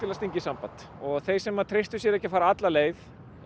að stinga í samband og þeir sem að treystu sér ekki til að fara alla leið